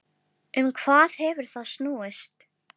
Um hvað hefur það snúist?